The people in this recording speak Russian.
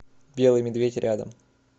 белый медведь рядом